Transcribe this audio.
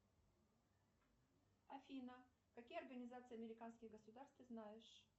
афина какие организации американских государств ты знаешь